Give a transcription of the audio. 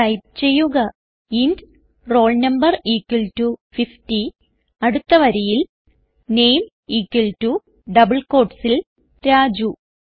type ചെയ്യുക int roll no equal to 50 അടുത്ത വരിയിൽ നാമെ ഇക്വൽ ടോ ഡബിൾ quotesൽ രാജു